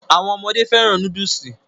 Àwọn ọmọdé fẹ́ràn núdùsì